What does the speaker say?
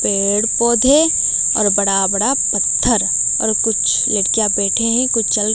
पेड़ पौधे और बड़ा बड़ा पत्थर और कुछ लड़कियां बैठे हैं कुछ चल--